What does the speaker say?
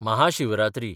Mahashivratri